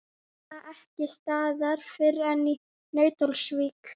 Nema ekki staðar fyrr en í Nauthólsvík.